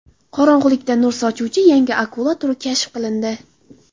Qorong‘ilikda nur sochuvchi yangi akula turi kashf qilindi.